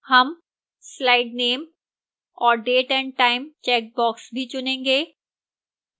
हम slide name और date and time checkboxes भी चुनेंगे